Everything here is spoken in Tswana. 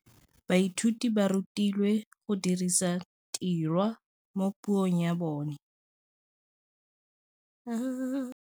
Baithuti ba rutilwe go dirisa tirwa mo puong ya bone.